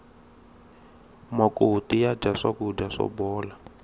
makoti ya dya swakudya swo bola